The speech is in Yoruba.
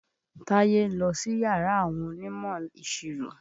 Táyé ń lọ síyàrá àwọn onímọ̀-ìṣirò.